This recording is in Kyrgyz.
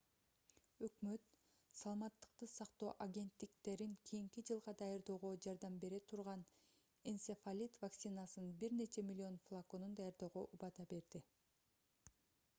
өкмөт саламаттыкты сактоо агенттиктерин кийинки жылга даярдоого жардам бере турган энцефалит вакцинасынын бир нече миллион флаконун даярдоого убада берди